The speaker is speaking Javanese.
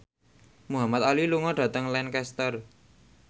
Muhamad Ali lunga dhateng Lancaster